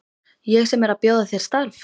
Ég sem er að bjóða þér starf!